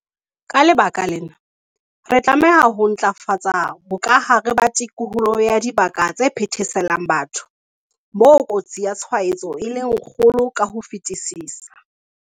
Ka lebaka lena, re tlameha ho ntlafatsa bokahare ba tikoloho ya dibaka tse phetheselang batho, moo kotsi ya tshwaetso e leng kgolo ka ho fetisisa.